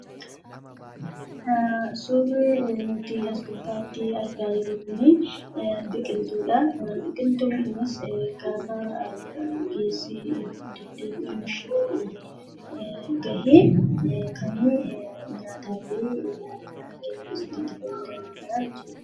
Suurri nuti as gubbaatti argaa jirru Kun, biqiltuudha. Biqiltuun kunis gaafa geesse guddatee gahe kan nyaataaf itti fayyadamnudhaa jechuudha.